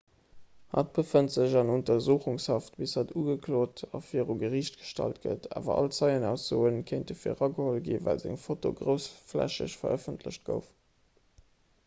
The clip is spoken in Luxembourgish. hatt befënnt sech an untersuchungshaft bis hatt ugeklot a viru geriicht gestallt gëtt awer all zeienaussoe kéinte virageholl sinn well seng foto groussflächeg verëffentlecht gouf